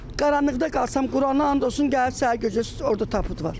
Qaranlıqda qalsam Qurana and olsun gəlib səhər-gecə orda taput var.